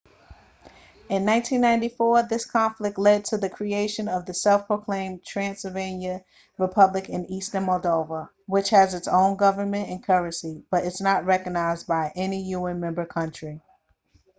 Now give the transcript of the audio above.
in 1994 this conflict led to the creation of the self-proclaimed transnistria republic in eastern moldova which has its own government and currency but is not recognised by any un member country